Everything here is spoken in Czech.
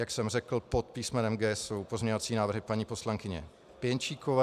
Jak jsem řekl, pod písmenem G jsou pozměňovací návrhy paní poslankyně Pěnčíkové.